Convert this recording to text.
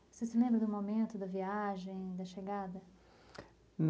Você se lembra do momento, da viagem, da chegada?